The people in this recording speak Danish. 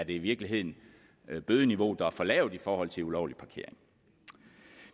i virkeligheden er bødeniveauet der er for lavt i forhold til ulovlig parkering